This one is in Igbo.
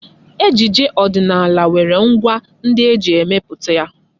Ejije ọdịnala nwere ngwá ndị eji emepụta ya..